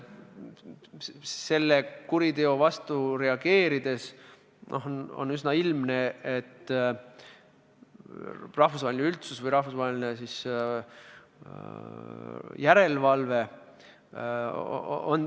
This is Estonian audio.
Sellele kuriteole reageerides on üsna ilmne, et tagaajaja rollis on rahvusvaheline üldsus või rahvusvaheline järelevalve.